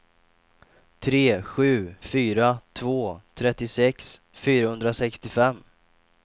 tre sju fyra två trettiosex fyrahundrasextiofem